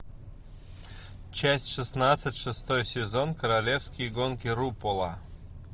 часть шестнадцать шестой сезон королевские гонки рупола